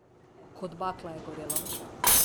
Kot bakla je gorelo.